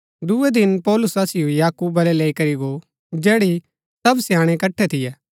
दूये दिन पौलुस असिओ याकूब वलै लैई करी गो जैड़ी सब स्याणै इकट्ठै थियै